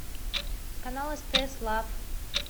канал стс лав